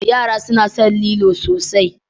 Yara suna son lilo sosai.